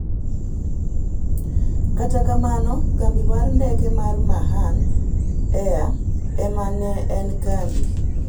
kat kamano kambi mar ndeke mar Mahan air ema ne en kambi